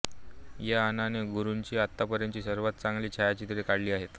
या यानाने गुरूची आतापर्यंतची सर्वांत चांगली छायाचित्रे काढली आहेत